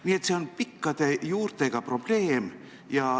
Nii et see on pikkade juurtega probleem.